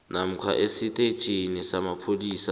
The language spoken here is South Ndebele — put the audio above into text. namkha esitetjhini samapholisa